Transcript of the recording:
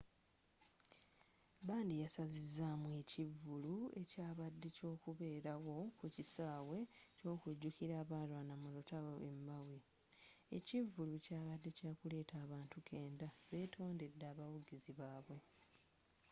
bandi yasazizzamu ekivulu ekyabadde ekyokubelewo ku kisawe ky'okujjukira abalwana mu lutalo e maui ekivvulu kyaadde kyakuletta abantu kkenda betondedde abawagizi babwe